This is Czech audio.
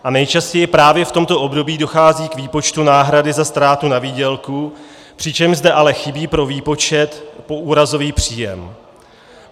A nejčastěji právě v tomto období dochází k výpočtu náhrady za ztrátu na výdělku, přičemž zde ale chybí pro výpočet poúrazový příjem.